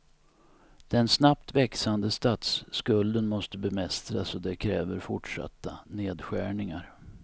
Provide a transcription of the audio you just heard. Den snabbt växande statsskulden måste bemästras och det kräver fortsatta nedskärningar.